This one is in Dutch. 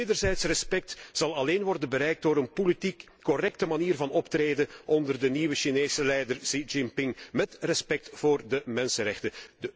Wederzijds respect zal alleen worden bereikt door een politiek correcte manier van optreden, onder de nieuwe Chinese leider Xi Jinping, mét respect voor de mensenrechten.